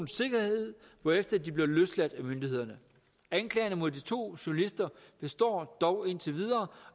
sikkerhed hvorefter de blev løsladt af myndighederne anklagerne mod de to journalister består dog indtil videre